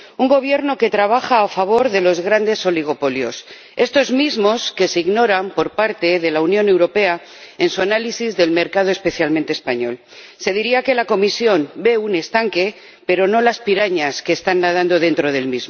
un Gobierno que trabaja a favor de los grandes oligopolios, esos mismos que ignora la Unión Europea en su análisis del mercado, especialmente del español se diría que la Comisión ve un estanque pero no las pirañas que están nadando en él.